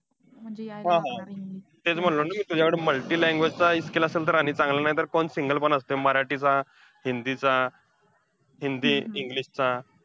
हा हा. तेच म्हणलं ना मी तुझ्याकडे milti language चं skill असेल तर आणि चं चांगलं, नाहीतर पण single पण असतंय मराठी चा, हिंदी चा, हिंदी english चा.